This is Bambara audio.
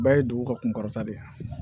Bɛɛ ye dugu ka kunkɔrɔta de ye